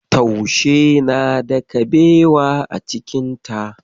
Taushe na da kabewa a cikin ta.